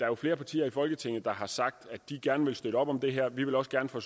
er flere partier i folketinget der har sagt at de gerne vil støtte op om det her vi vil også gerne fra